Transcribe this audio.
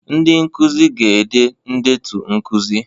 Ndị nkuzi ga-ede ndetu nkuzi